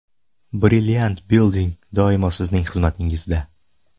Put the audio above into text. Brilliant Building doimo sizning xizmatingizda!